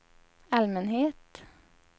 allmänhet